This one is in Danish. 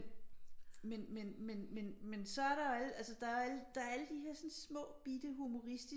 Men men så er der alle altså der er alle der her små bitte humoristiske